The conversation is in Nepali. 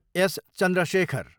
एस. चन्द्रशेखर